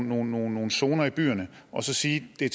nogle nogle zoner i byerne og så sige at det